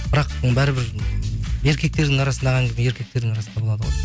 бірақ оны бәрібір еркектердің арасындағы әңгіме еркектердің арасында болады ғой